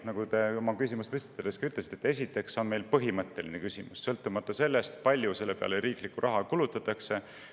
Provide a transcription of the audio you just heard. Nagu te oma küsimust esitades ütlesite, esiteks on meil küsimus põhimõttes, sõltumata sellest, palju selle peale riiklikku raha kulutatakse.